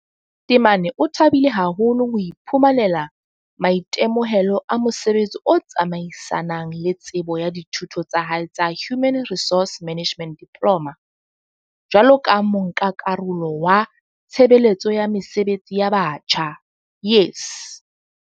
Temane o thabile haholo ho iphumanela maitemohelo a mosebetsi o tsamaisanang le tsebo ya dithuto tsa hae tsa Human Resource Management Diploma, jwaloka monka-karolo wa Tshebeletso ya Mesebetsi ya Batjha YES.